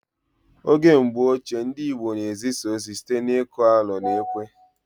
Oge mgbọ ochie, ndị Igbo na ezisa ozi site n'iku alo na ekwe